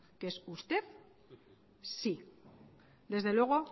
que es usted sí desde luego